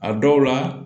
A dɔw la